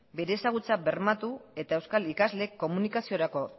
bere ezagutza bermatu eta euskal ikasleek komunikaziorako